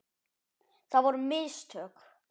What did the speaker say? Það voru mistök.